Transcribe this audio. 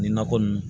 Nin nakɔ nunnu